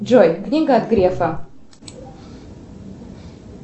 джой книга от грефа